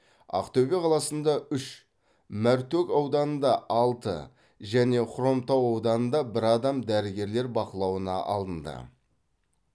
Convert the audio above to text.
ақтөбе қаласында үш мәртөк ауданында алты және хромтау ауданында бір адам дәрігерлер бақылауына алынды